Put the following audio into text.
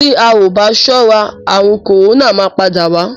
Tí a ò bá sọ́ra àrùn kòrónà máa padà wá.